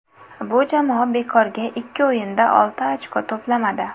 Bu jamoa bekorga ikki o‘yinda olti ochko to‘plamadi.